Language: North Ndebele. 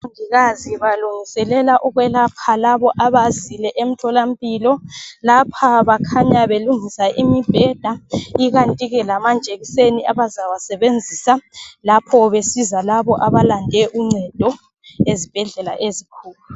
Omongikazi balungiselela ukwelapha labo abazile emtholampilo lapha bakhanya belungisa imibheda ikanti ke lamajekiseni abazawasebenzisa lapho besiza labo abalande uncedo ezibhedlela ezikhulu.